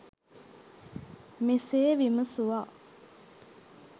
මෙසේ විමසුවා.